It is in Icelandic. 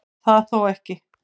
Það þó ekki